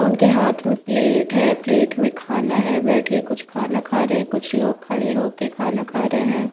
उनके हाथ में प्लेट है प्लेट में खाना है बैठ के कुछ खाना खा रहे हैं कुछ लोग खड़े होकर खाना खा रहे हैं।